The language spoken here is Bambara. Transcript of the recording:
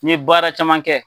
N'i ye baara caman kɛ,